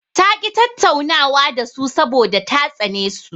Ta ƙi tattaunawa da su saboda ta tsane su.